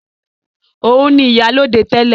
Òun ni ìyálóde tẹ́lẹ̀